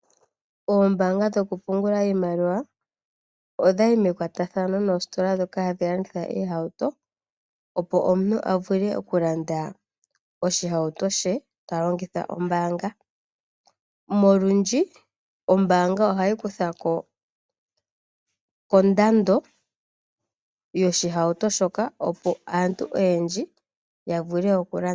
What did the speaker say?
Oombaanga dhokupungula iimaliwa odhayi mekwatathano noositola ndhoka hadhi landitha iihauto. Omuntu opo avule okulanda oshihauto she talongitha ombaanga. olundji ombaanga ohayi kuthako kondando yoshihauto shoka opo aantu oyendji ya vule okulanda.